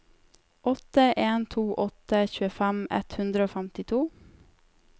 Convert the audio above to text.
åtte en to åtte tjuefem ett hundre og femtito